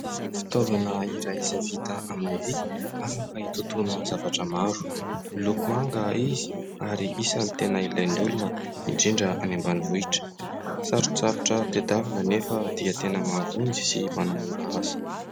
Fitaovana iray izay vita amin'ny vy afaka hitotoana zavatra maro. Miloko manga izy ary isan'ny tena ilain'ny olona, indrindra any ambanivohitra. Sarotsarotra tadiavina nefa tena mahavonjy sy manamora asa.